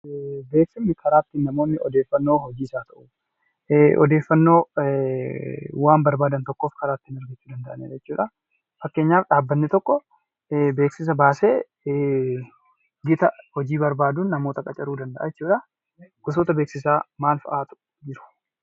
Beeksisni karaa ittiin namoonni odeeffannoo hojiis haa ta'u odeeffannoo waan barbaadan tokkoo karaa ittiin argachuu danda'anidha jechuudha. Fakkeenyaf dhaabbanni tokko beeksisa baasee gita hojii barbaaduun namoota qacaruu danda'a jechuudha. Gosoota beeksisaa maal fa'aatu jiru?